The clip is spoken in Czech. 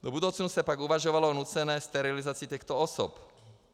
Do budoucna se pak uvažovalo o nucené sterilizaci těchto osob.